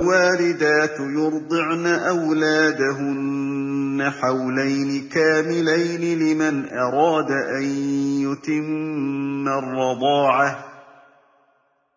۞ وَالْوَالِدَاتُ يُرْضِعْنَ أَوْلَادَهُنَّ حَوْلَيْنِ كَامِلَيْنِ ۖ لِمَنْ أَرَادَ أَن يُتِمَّ الرَّضَاعَةَ ۚ